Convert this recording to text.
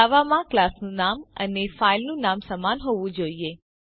જાવામાં ક્લાસનું નામ અને ફાઈલનું નામ સમાન હોવું જોઈએ